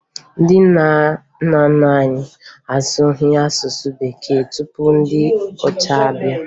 Ndị nna nna anyị asụghị asụsụ bekee tupu ndị ọcha abịa